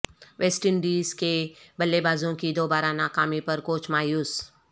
waste Indies کے بلے بازوں کی دوبارہ ناکامی پر کوچ مایوس